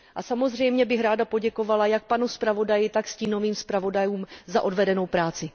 A samozřejmě bych ráda poděkovala jak panu zpravodaji, tak stínovým zpravodajům za odvedenou práci.